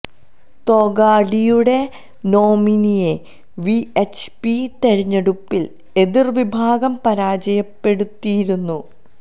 തൊഗാഡിയുടെ നോമിനിയെ V H P തിരഞ്ഞെടുപ്പിൽ എതിർ വിഭാഗം പരാജയപ്പെടുത്തിയിരുന്നു